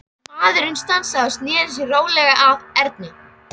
Maðurinn stansaði og sneri sér rólega að Erni.